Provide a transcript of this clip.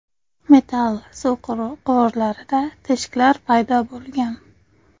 Metall suv quvurlarida teshiklar paydo bo‘lgan.